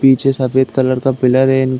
पीछे सफ़ेद कलर का पिलर है इन --